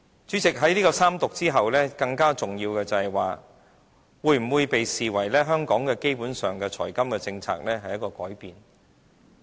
主席，在三讀後，更重要的是，這會否被視為香港基本財金政策的一個改變？